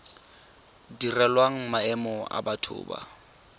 direlwang maemo a batho ba